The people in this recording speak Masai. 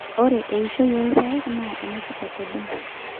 ore eishoi olpaek naa enetipat oleng